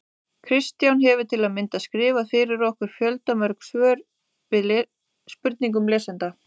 Kristján hefur til að mynda skrifað fyrir okkur fjöldamörg svör við spurningum lesenda.